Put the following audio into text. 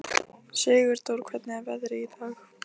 Sigurdór, hvernig er veðrið í dag?